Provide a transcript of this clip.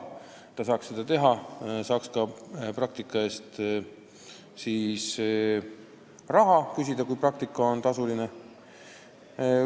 Edaspidi ta saaks seda teha ja saaks praktika eest ka raha küsida, kui praktika on tasuline.